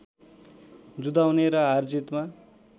जुधाउने र हारजितमा